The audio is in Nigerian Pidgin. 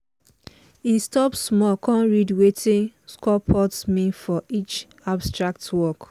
he stop small con read wetin sculptor mean for each abstract work.